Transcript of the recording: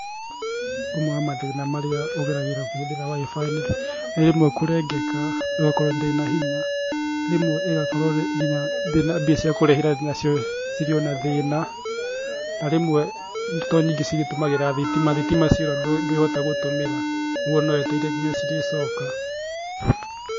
Ũmwe wa mathĩna marĩa ũgeragĩra ũkĩhũthĩra Wi-Fi nĩ rĩmwe kũrengeka, ĩgakorwo ndĩrĩ na hinya, rĩmwe ĩgakorwo nginya mbia cia kũrĩhĩra nacio cirĩ o na thĩna, na rĩmwe tondũ nyingĩ cigĩtũmagra thitima thitima ciora ndwĩhota gũtũmĩra koguo no wetereire nginya cirĩcoka.